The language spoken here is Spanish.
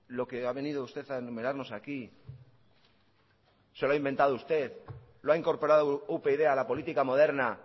lo que ha venido usted a enumerarnos aquí se lo ha inventado usted lo ha incorporado upyd a la política moderna